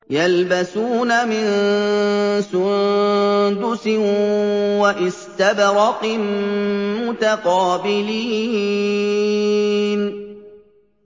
يَلْبَسُونَ مِن سُندُسٍ وَإِسْتَبْرَقٍ مُّتَقَابِلِينَ